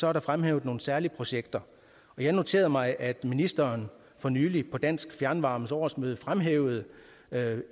er der fremhævet nogle særlige projekter jeg noterede mig at ministeren for nylig på dansk fjernvarmes årsmøde fremhævede